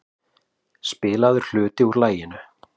Spilaður hluti úr laginu.